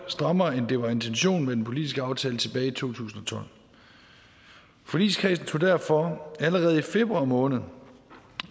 strammere end det var intentionen med den politiske aftale tilbage i to tusind og tolv forligskredsen tog derfor allerede i februar måned